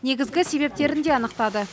негізгі себептерін де анықтады